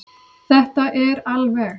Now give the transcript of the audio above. Þetta er alveg.